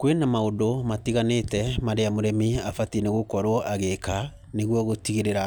Kwĩ na maũndũ matiganĩte marĩa mũrĩmi abatiĩ nĩ gũkorwo agĩĩka nĩguo gũtigĩrĩra